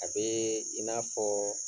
A bɛ i n'a fɔ